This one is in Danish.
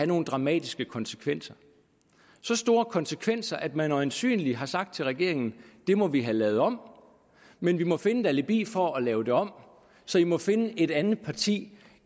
nogle dramatiske konsekvenser så store konsekvenser at man øjensynlig har sagt til regeringen det må vi have lavet om men vi må finde et alibi for at lave det om så i må finde et andet parti